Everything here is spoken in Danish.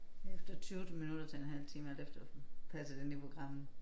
Efter 20 minutter til en halv time alt efter passer det ind i programmet